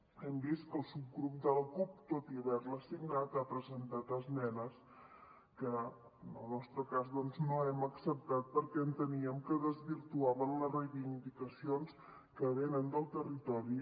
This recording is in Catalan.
hem vist que el subgrup de la cup tot i haver la signat ha presentat esmenes que en el nostre cas doncs no hem acceptat perquè enteníem que desvirtuaven les reivindicacions que venen del territori